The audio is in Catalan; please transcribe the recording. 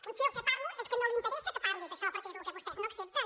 potser el que parlo és que no li interessa que parli d’això perquè és lo que vostès no accepten